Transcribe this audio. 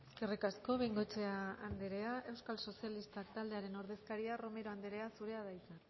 eskerrik asko bengoechea andrea eusko sozialistak taldearen ordezkaria romero andrea zurea da hitza